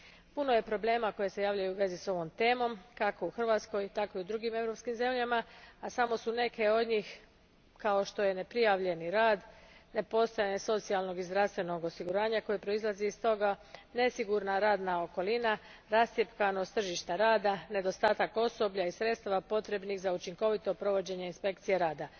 Puno je problema koji se javljaju u vezi s ovom temom, kako u Hrvatskoj, tako i u drugim europskim zemljama, a samo su neki od njih neprijavljeni rad, nepostojanje socijalnog i zdravstvenog osiguranja koje proizlazi iz toga, nesigurna radna okolina, rascjepkanost tržišta rada, nedostatak osoblja i sredstava potrebnih za učinkovito provođenje isnpekcija rada.